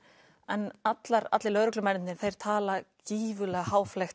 en allir allir lögreglumennirnir tala gífurlega